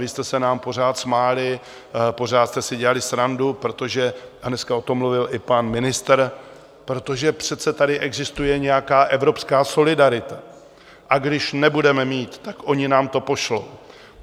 Vy jste se nám pořád smáli, pořád jste si dělali srandu, protože - a dneska o tom mluvil i pan ministr - protože přece tady existuje nějaká evropská solidarita a když nebudeme mít, tak oni nám to pošlou.